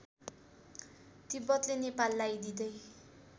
तिब्बतले नेपाललाई दिँदै